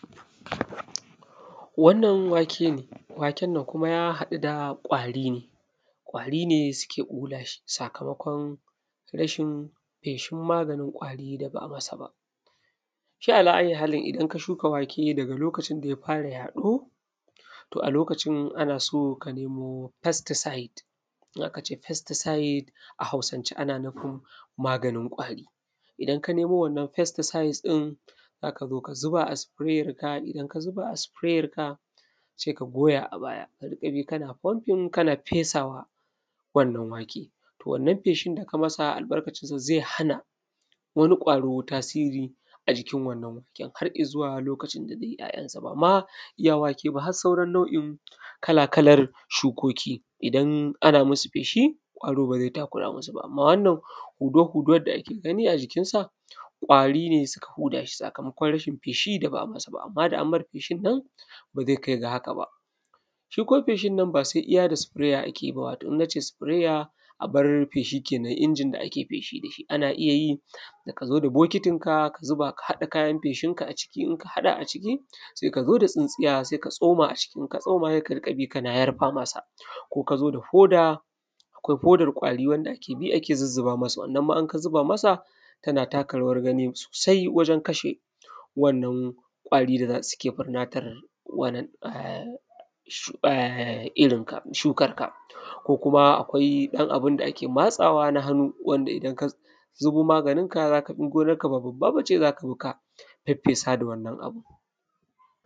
wannan wake ne wakennan kuma ja haɗu da ƙwari ne ƙwari ne suke ɓula shi sakamakon rashin feshin maganin ƙwari da ba a masa ba shi ala ayyi halin idan ka shuka wake daga lokacin da ja fara yaɗo to a lokacin ana so ka nemo pesticide in aka ce pesticide a hausance ana nufin maganin ƙwari idan ka nemo wannan pestiside ɗin za ka zo ka zuba a spray re-can idan ka zuba a spray re-can sai ka goya a baya ka na pumping ka na fesa wa wannan wa:ke to wannan feeshin da ka masa albarkacin shi zai hana wani ƙwaro tasiri a jikin wannan waken har izuwa lokacin zai yi ‘ya’yansa ba ma iya wake ba har sauran nau’in kala kalar shukoki idan ana musu feshi ƙwaro ba zai takura musu ba amma wannan hudawa hudawan da ake gani a jikin sa ƙwari ne suka huda shi sakamakon rashin feshi da ba a masa ba amma da an mai feshi nan ba zai kai ga haka ba shi kuma feshin nan ba sai iya da sprayer ake yi ba idan na je da sprayer abar feshi kenan injin da ake feshi da shi ana iya yi da ka zo da bokitin ka ka zuba ka haɗa kayan feshinka a jiki inka haɗa a jiki sai ka zo da tsintsiya sai ka tsoma a ciki in ka tsoma sai ka riƙa bi kana jarfa masa ko ka zo da ho:da akwai hodar ƙwari wanda ake bi ana zuzzuba masa in ka zu:ba masa wannan ma inka zu:ba masa ta na taka rawar gani sosai wajen kashe wannan ƙwari da za suke ɓannatar da irin ka shukar ka ko kuma akwai ɗan abinda ake matsawa na hannu wanda idan ka zubo maganin ka ka zo in gonar ka ba bubba ba je za ka zo ka feffesa da wannan abun